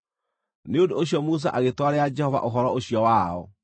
Nĩ ũndũ ũcio Musa agĩtwarĩra Jehova ũhoro ũcio wao,